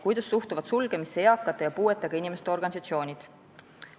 Kuidas suhtuvad sulgemisse eakate ja puuetega inimeste organisatsioonid?